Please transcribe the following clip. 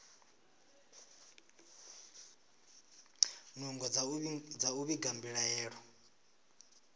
nungo dza u vhiga mbilaelo